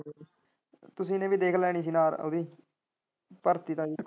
ਤੁਸੀਂ ਨੇ ਵੀ ਨਾਲ ਦੇਖ ਲੈਣੀ ਸੀ ਨਾਲ ਓਹਦੀ ਭਰਤੀ ਦਾ ਵੀ।